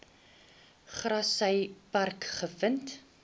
grassy park gevind